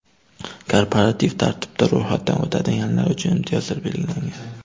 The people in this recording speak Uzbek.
Korporativ tartibda ro‘yxatdan o‘tadiganlar uchun imtiyozlar belgilangan.